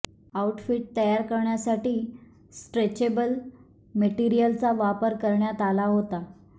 outfit तयार करण्यासाठी stretchable मटेरिअलचा वापर करण्यात आला होता